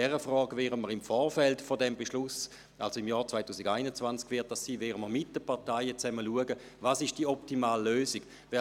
Auch in dieser Frage werden wir im Vorfeld des Beschlusses, das heisst im Jahr 2021, gemeinsam mit den Parteien prüfen, welches die optimale Lösung ist.